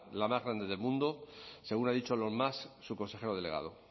la más grande del mundo según ha dicho elon musk su consejero delegado